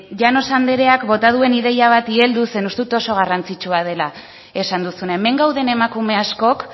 llanos andreak bota duen ideia bati helduz zeren uste dut oso garrantzitsua dela esan duzuna hemen gauden emakume askok